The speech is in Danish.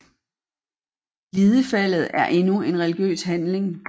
Glidefaldet er endnu en religiøs handling